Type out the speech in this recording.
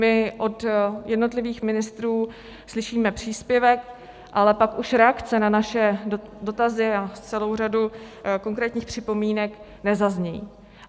My od jednotlivých ministrů slyšíme příspěvek, ale pak už reakce na naše dotazy a celou řadu konkrétních připomínek nezazní.